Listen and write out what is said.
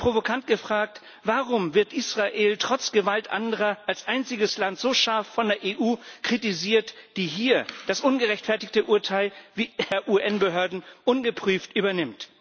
Und provokant gefragt Warum wird Israel trotz Gewalt anderer als einziges Land so scharf von der EU kritisiert, die hier das ungerechtfertigte Urteil der UN Behörden ungeprüft übernimmt?